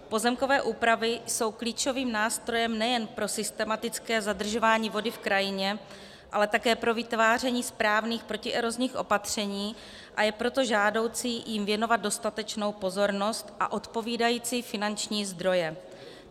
Pozemkové úpravy jsou klíčovým nástrojem nejen pro systematické zadržování vody v krajině, ale také pro vytváření správných protierozních opatření, a je proto žádoucí jim věnovat dostatečnou pozornost a odpovídající finanční zdroje.